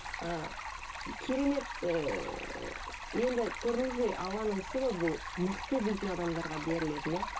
ы керемет ыыы енді көрдіңіз бе алланың ісі ғой бұл мықты дейтін адамдарға берілетін иә